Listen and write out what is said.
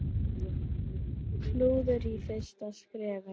Klúður í fyrsta skrefi.